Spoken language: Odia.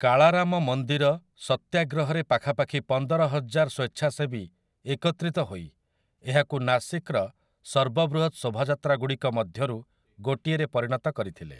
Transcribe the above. କାଳାରାମ ମନ୍ଦିର ସତ୍ୟାଗ୍ରହରେ ପାଖାପାଖି ପନ୍ଦରହଜାର ସ୍ୱେଚ୍ଛାସେବୀ ଏକତ୍ରିତ ହୋଇ ଏହାକୁ ନାସିକର ସର୍ବବୃହତ ଶୋଭାଯାତ୍ରାଗୁଡ଼ିକ ମଧ୍ୟରୁ ଗୋଟିଏରେ ପରିଣତ କରିଥିଲେ ।